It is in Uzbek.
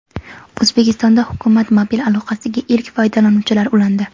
O‘zbekistonda hukumat mobil aloqasiga ilk foydalanuvchilar ulandi.